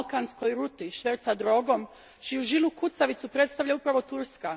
balkanskoj ruti šverca droge, čiju žilu kucavicu predstavlja upravo Turska.